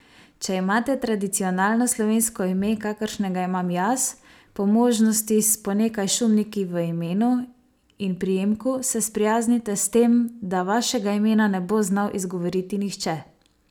Če imate tradicionalno slovensko ime, kakršnega imam jaz, po možnosti s po nekaj šumniki v imenu in priimku, se sprijaznite s tem, da vašega imena ne bo znal izgovoriti nihče.